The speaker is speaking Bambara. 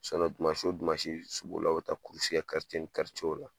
dimansi o dimansi sugu la o bɛ taa kɛ la